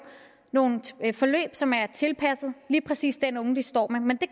nogle forløb som er tilpasset lige præcis den unge vi står med men det